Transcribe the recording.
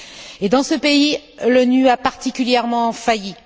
Et dans ce pays, l'ONU a particulièrement failli.